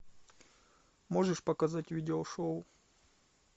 можешь показать видеошоу